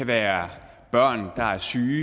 være